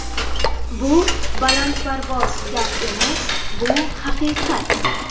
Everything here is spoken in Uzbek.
Bu balandparvoz gap emas, bu haqiqat.